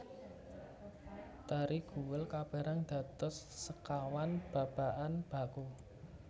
Tari Guel kaperang dados sekawan babakan baku